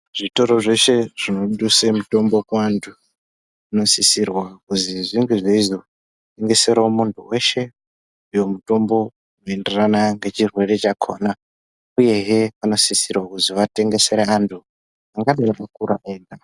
Zvitoro zveshe zvinoduse mutombo kuantu zvinosisirwa kuti zvinge zveizo tengesera muntu veshe uyo mutombo unoenderana ngechirwere chakona, uyehe vanosisirwa kuzi vatengesere vantu angadai akakura eda.